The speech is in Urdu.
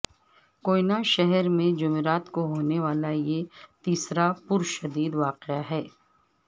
کوئٹہ شہر میں جمعرات کو ہونے والا یہ تیسرا پرتشدد واقعہ ہے